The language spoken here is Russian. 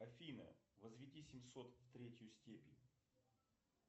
афина возведи семьсот в третью степень